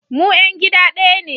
Mu ‘yan gida daya ne